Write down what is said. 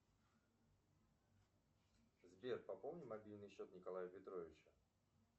сбер пополни мобильный счет николая петровича